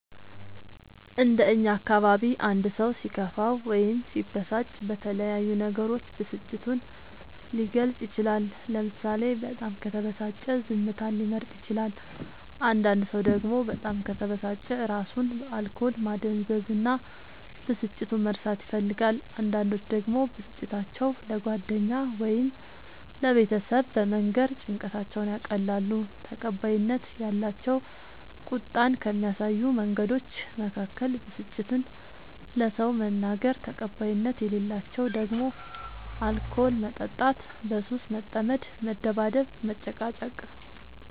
እንደ እኛ አካባቢ አንድ ሰው ሲከፋው ወይም ሲበሳጭ በተለያዩ ነገሮች ብስጭቱን ሊገልፅ ይችላል ለምሳሌ በጣም ከተበሳጨ ዝምታን ሊመርጥ ይችላል አንዳንድ ሰው ደግሞ በጣም ከተበሳጨ እራሱን በአልኮል ማደንዘዝ እና ብስጭቱን መርሳት ይፈልጋል አንዳንዶች ደግሞ ብስጭታቸው ለጓደኛ ወይም ለቤተሰብ በመንገር ጭንቀታቸውን ያቀላሉ። ተቀባይነት ያላቸው ቁጣን ከሚያሳዩ መንገዶች መካከል ብስጭትን ለሰው መናገር ተቀባይነት የሌላቸው ደግሞ አልኮል መጠጣት በሱስ መጠመድ መደባደብ መጨቃጨቅ